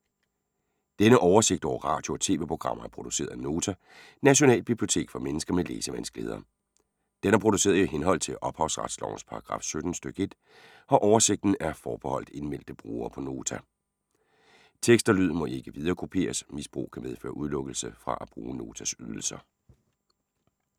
Denne oversigt over radio og TV-programmer er produceret af Nota, Nationalbibliotek for mennesker med læsevanskeligheder. Den er produceret i henhold til ophavsretslovens paragraf 17 stk. 1. Oversigten er forbeholdt indmeldte brugere på Nota. Tekst og lyd må ikke viderekopieres. Misbrug kan medføre udelukkelse fra at bruge Notas ydelser.